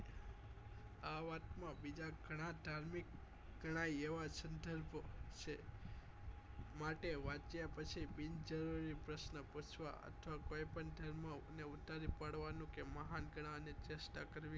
આ વાત માં બીજા ગણા ધાર્મિક ગણા એવા સંદર્ભ છેમાટે વાંચ્યા પછી બિનજરૂરી પ્રશ્નો પૂછવા અથ કોઈ પણ ધર્મ ને ઉતારી પાડવા નો કે મહાન્ગના અને ચેષ્ટા કરવી